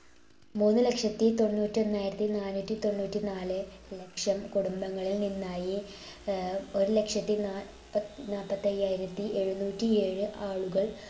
മൂന്നുലക്ഷത്തി തൊണ്ണൂറ്റി ഒന്നായിരത്തി നാനൂറ്റി തൊണ്ണൂറ്റി നാലെ ലക്ഷം കുടുംബങ്ങളിൽ നിന്നായി ഏർ ഒരു ലക്ഷത്തി നാല്പ നാല്പത്തയ്യായിരത്തി എഴുന്നൂറ്റി ഏഴ് ആളുകൾ